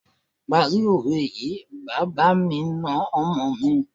Parí òwe yìí, bàbá mi na ọmọ mi.